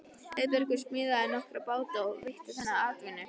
Auðbergur smíðaði nokkra báta og veitti þannig atvinnu.